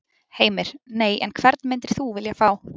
Heimir: Nei, en hvern myndir þú vilja fá?